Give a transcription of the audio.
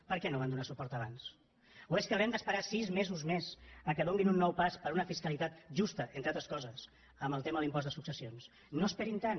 per què no hi van donar suport abans o és que haurem d’esperar sis mesos més perquè facin un nou pas per una fiscalitat justa entre altres coses en el tema de l’impost de successions no esperin tant